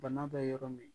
Bana bɛ yɔrɔ min